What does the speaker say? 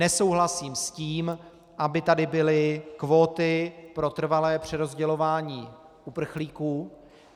Nesouhlasím s tím, aby tady byly kvóty pro trvalé přerozdělování uprchlíků.